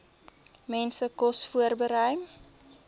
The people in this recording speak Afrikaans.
mense kos voorberei